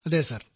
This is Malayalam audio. അതെ സർ